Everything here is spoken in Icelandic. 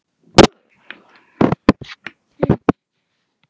Hvaða leik manstu fyrst eftir að hafa horft á sem krakki?